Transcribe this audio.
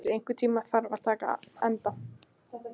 Bessi, einhvern tímann þarf allt að taka enda.